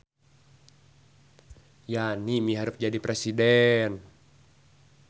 Yani miharep jadi presiden